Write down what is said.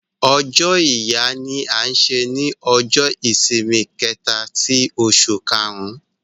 Ọ̀jọ́ Ìyà ní à ṣè ní Ọ̀jọ́-ìṣìmì kẹta tì Òṣù kàrún